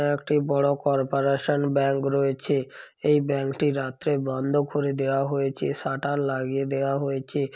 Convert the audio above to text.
একটি বড় corporation bank রয়েছে এই ব্যাংকটি টি রাত্রে বন্ধ করে দেয়া হয়েছে সাটার লাগিয়ে দেয়া হয়েছে ।